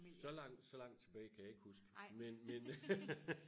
så langt så langt tilbage kan jeg ikke huske men men